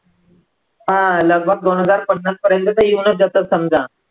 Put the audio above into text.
हा लगभग दोन हजार पन्नासपर्यंत तर येऊनचं जातात समजा.